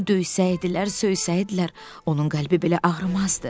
Onu döysəydilər, söysəydilər, onun qəlbi belə ağrımazdı.